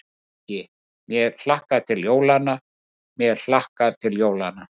Ekki: mig hlakkar til jólanna, mér hlakkar til jólanna.